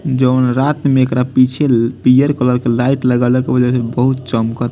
जोवन रात में एकरा पीछे पियर कलर के लाइट लागल ह ओउजा से बहुत चमक --